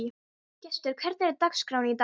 Gestur, hvernig er dagskráin í dag?